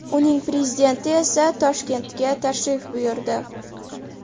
Uning prezidenti esa Toshkentga tashrif buyurdi.